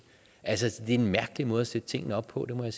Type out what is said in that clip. altså det er en mærkelig måde at sætte tingene op på det må jeg